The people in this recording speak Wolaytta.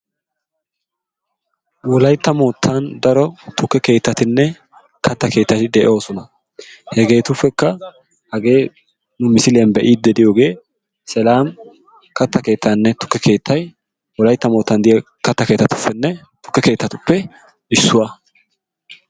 wolaytta keettan daro katta keettatinne tukke keetati de'oosona. hegetuppekka hagee nu isiliyan be'iidi diyoogee selam kata keetay wolaytta mootan diya kata kettatuppe issuwa.